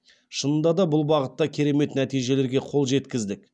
шынында да бұл бағытта керемет нәтижелерге қол жеткіздік